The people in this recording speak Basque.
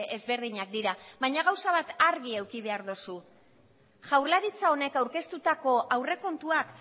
ezberdinak dira baina gauza bat argi eduki behar dozu jaurlaritza honek aurkeztutako aurrekontuak